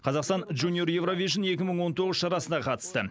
қазақстан жуниор еуравижн екі мың он тоғыз шарасына қатысты